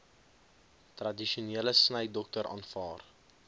tradisionele snydokter aanvaar